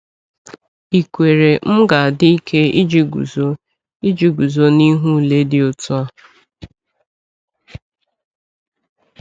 Ìkwere m ga-adị ike iji guzo ike iji guzo n’ihu ule dị otu a?